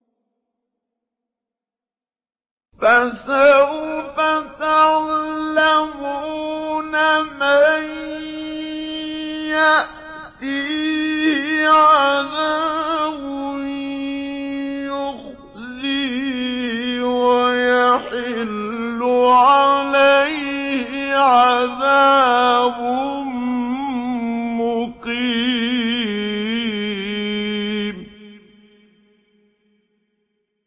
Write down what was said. فَسَوْفَ تَعْلَمُونَ مَن يَأْتِيهِ عَذَابٌ يُخْزِيهِ وَيَحِلُّ عَلَيْهِ عَذَابٌ مُّقِيمٌ